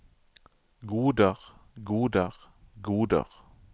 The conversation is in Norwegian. goder goder goder